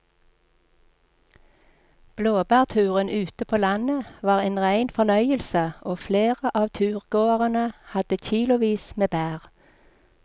Blåbærturen ute på landet var en rein fornøyelse og flere av turgåerene hadde kilosvis med bær.